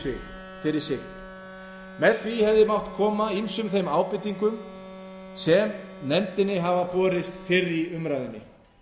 sig með því hefði mátt koma ýmsum þeim ábendingum sem nefndinni hafa borist fyrr í umræðunni